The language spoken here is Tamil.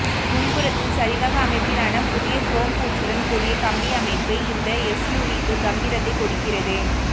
முன்புறத்தில் சரிவக அமைப்பிலான புதிய குரோம் பூச்சுடன் கூடிய கம்பி அமைப்பு இந்த எஸ்யூவிக்கு கம்பீரத்தை கொடுக்கிறது